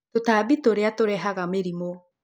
Tũtambi tũrĩa nĩ tũrehaga mĩrimũ